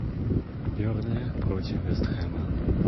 бернли против вест хэма